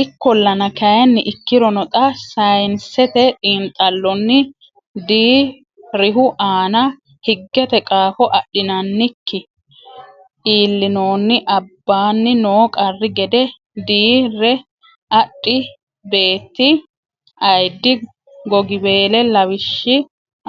Ikkollana kayinni Ikkirono xaa saynsete xiinxallonni dii rihu aana higgete qaafo adhinannikki iillinoonni abbanni noo qarri gede dii re adhi beetti ayiddi gogiweele lawashshi